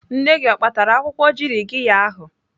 Nne gị o kpatara akwụkwọ jirigiya ahụ?